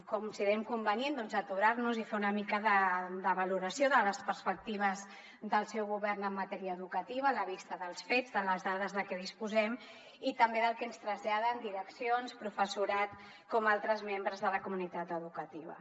considerem convenient aturar nos i fer una mica de valoració de les perspectives del seu govern en matèria educativa a la vista dels fets de les dades de què disposem i també del que ens traslladen direccions professorat com altres membres de la comunitat educativa